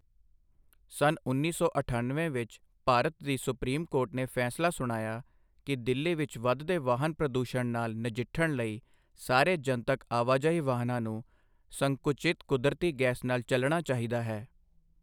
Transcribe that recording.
ਸੰਨ ਉੱਨੀ ਸੌ ਅਠਣਵੇਂ ਵਿੱਚ, ਭਾਰਤ ਦੀ ਸੁਪਰੀਮ ਕੋਰਟ ਨੇ ਫੈਸਲਾ ਸੁਣਾਇਆ ਕਿ ਦਿੱਲੀ ਵਿੱਚ ਵਧਦੇ ਵਾਹਨ ਪ੍ਰਦੂਸ਼ਣ ਨਾਲ ਨਜਿੱਠਣ ਲਈ ਸਾਰੇ ਜਨਤਕ ਆਵਾਜਾਈ ਵਾਹਨਾਂ ਨੂੰ ਸੰਕੁਚਿਤ ਕੁਦਰਤੀ ਗੈਸ ਨਾਲ ਚਲਣਾ ਚਾਹੀਦਾ ਹੈ।